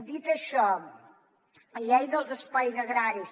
dit això llei dels espais agraris